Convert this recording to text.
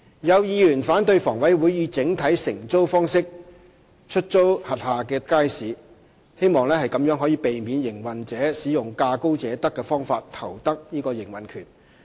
有議員反對房委會以整體承租方式出租轄下街市，希望可避免營運者使用價高者得的方法投得營運權。